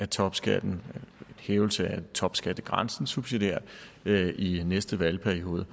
topskatten en hævelse af topskattegrænsen subsidiært i næste valgperiode